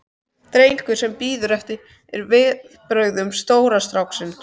drengur sem bíður eftir viðbrögðum stóra stráksins.